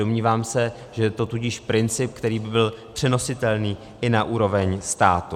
Domnívám se, že je to tudíž princip, který by byl přenositelný i na úroveň státu.